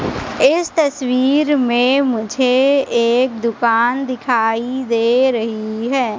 इस तस्वीर में मुझे एक दुकान दिखाई दे रही है।